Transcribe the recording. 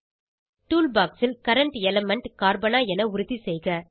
tool box ல் current element கார்பனா என உறுதிசெய்க